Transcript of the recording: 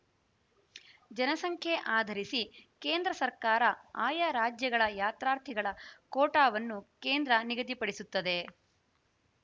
ಜನಸಂಖ್ಯೆ ಆಧರಿಸಿ ಕೇಂದ್ರ ಸರ್ಕಾರ ಆಯಾ ರಾಜ್ಯಗಳ ಯಾತ್ರಾರ್ಥಿಗಳ ಕೋಟಾವನ್ನು ಕೇಂದ್ರ ನಿಗದಿಪಡಿಸುತ್ತದೆ